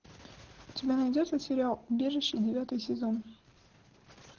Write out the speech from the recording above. у тебя найдется сериал убежище девятый сезон